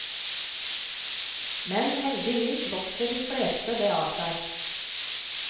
Men heldigvis vokser de fleste det av seg.